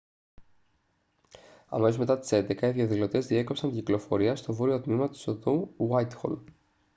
αμέσως μετά τις 11.00 οι διαδηλωτές διέκοψαν την κυκλοφορία στο βόρειο τμήμα της οδού γουάιτχολ